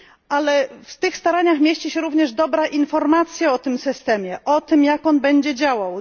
Ale w tych staraniach mieści się również dobra informacja o tym systemie, o tym, jak on będzie działał.